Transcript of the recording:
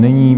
Není.